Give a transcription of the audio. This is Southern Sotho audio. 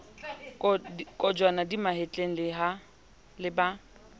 kojwana di mahetleng le ba